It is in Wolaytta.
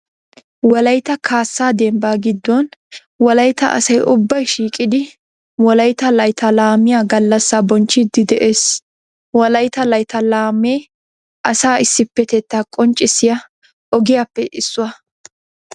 Wolaytta kaassaa dembbaa giddon wolaytta asay ubbay shiiqidi wolaytta layttaa laamiya gallassaa bonchchiiddi de'ees. Wolaytta laytta laamee asaa issippetettaa qonccissiya ogiyappe issuwa.